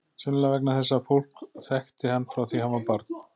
Sennilega vegna þess að fólk þekkti hann frá því hann var barn.